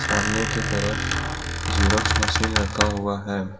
सामने की तरफ जेरॉक्स मशीन रखा हुआ है।